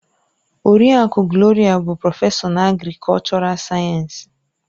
Oriakụ Gloria bụ prọfesọ na agrikọlchọral sayensị.